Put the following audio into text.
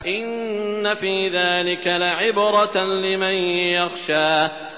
إِنَّ فِي ذَٰلِكَ لَعِبْرَةً لِّمَن يَخْشَىٰ